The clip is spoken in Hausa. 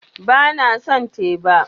Ba na son teba